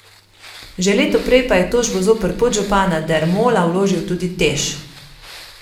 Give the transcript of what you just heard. Že leto prej pa je tožbo zoper podžupana Dermola vložil tudi Teš.